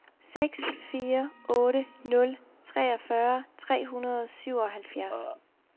seks fire otte nul treogfyrre tre hundrede og syvoghalvfjerds